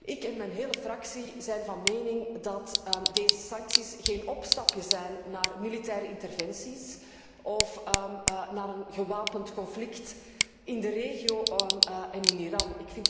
Ik en mijn hele fractie zijn van mening dat deze sancties geen opstapje mogen zijn naar militaire interventies of naar een gewapend conflict in de regio en in Iran.